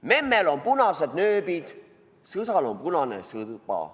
"Memmel on punased nööbid, sõsal on punane sõba.